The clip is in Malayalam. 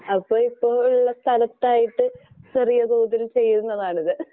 അപ്പൊ ഇപ്പം ഉള്ള സ്ഥലത്ത് ചെറുതായിട്ട് ചെറിയ തോതിൽ ചെയ്യുന്നതാണിത്.